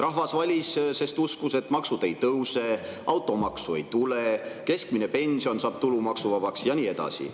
Rahvas valis, sest uskus, et maksud ei tõuse, automaksu ei tule, keskmine pension saab tulumaksuvabaks ja nii edasi.